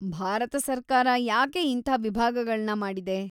ಭಾರತ ಸರ್ಕಾರ ಯಾಕೆ ಇಂಥಾ ವಿಭಾಗಗಳ್ನ ಮಾಡಿದೆ?